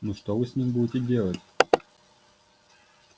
ну что вы с ним будете делать